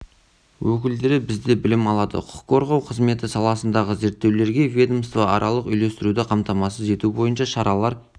өкілдері бізде білім алады құқық қорғау қызметі саласындағы зерттеулерге ведомствоаралық үйлестіруді қамтамасыз ету бойынша шаралар